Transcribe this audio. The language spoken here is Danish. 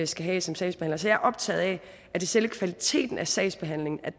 skal have som sagsbehandler så jeg er optaget af at selve kvaliteten af sagsbehandlingen